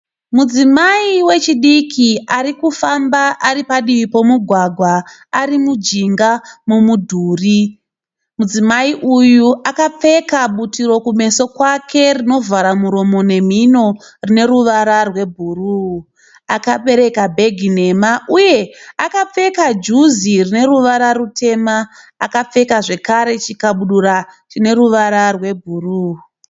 Mudzimai wechidiki ari kufamba ari padivi pomugwagwa ari mujinga momudhuri. Mudzimai uyu akapfeka butiro kumeso kwake rinovhara muromo nemhino rine ruvara rwebhuru. Akabereka bhegi nhema uye akapfeka juzi rine ruvara rutema. Akapfeka zvakare chikabudura chine ruvara rwebhuru.